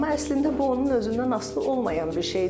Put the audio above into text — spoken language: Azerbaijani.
Amma əslində bu onun özündən asılı olmayan bir şeydir.